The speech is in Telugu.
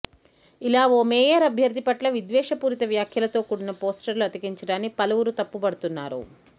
ఇలా ఓ మేయర్ అభ్యర్థి పట్ల విద్వేషపూరిత వ్యాఖ్యలతో కూడిన పోస్టర్లు అతికించడాన్ని పలువురు తప్పుబడుతున్నారు